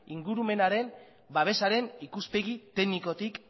ingurumenaren babesaren ikuspegi teknikotik